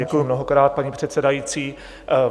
Děkuji mnohokrát, paní předsedající.